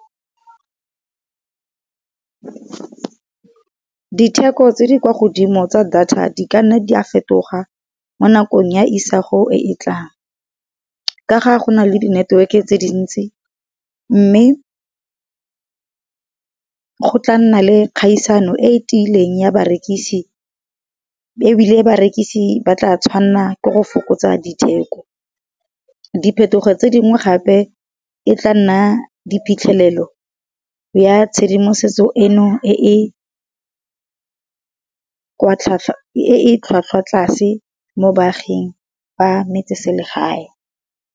Ditheko tse di kwa godimo tsa data di ka nna di a fetoga mo nakong ya isago e e tlang. Ka ga go na le di network tse dintsi, mme go tla nna le kgaisano e tiileng ya barekisi, e ebile barekisi ba tla tshwanna ke go fokotsa ditheko. Di phetogo tse dingwe gape e tla nna di phitlhelelo ya tshedimosetso eno e e tlhwatlhwa tlase mo baaging ba metseselegae.